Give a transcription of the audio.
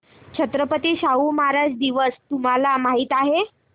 छत्रपती शाहू महाराज दिवस तुम्हाला माहित आहे